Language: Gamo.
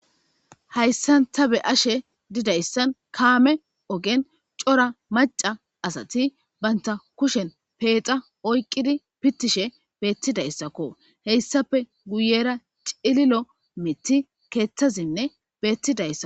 hayssan ta be ashe didayssan kaame ogen cora maca asati banta kushen peexa oyqqidi pittishe beettidayssakko heyssape guyera cililo miti keeththazinne beettidaysa